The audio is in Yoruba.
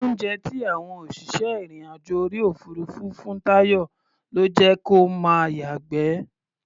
Oúnjẹ tí àwọn òṣìṣẹ́ ìrìn-àjò orí òfuurufú fún Táyọ̀ ló jẹ́ kó máa yàgbẹ́.